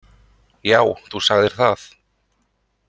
Já, þú sagðir það.